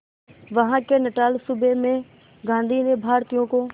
वहां के नटाल सूबे में गांधी ने भारतीयों को